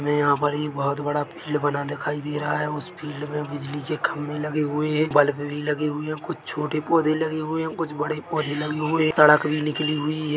हमें यहाँ पर एक बहुत बड़ा फील्ड बना दिखाई दे रहा है उस फील्ड में बिजली के खम्बे लगे हुए है बल्ब भी लगे हुए है कुछ छोटे पौधे लगे हुए है कुछ बड़े पौधे लगे हुए है सड़क भी निकली हुई है।